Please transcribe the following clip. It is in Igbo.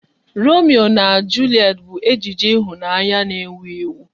Romeo na Julet bụ ejije ịhụnanya n'ewu ewu